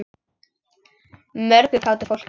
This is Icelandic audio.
Mörgu kátu fólki.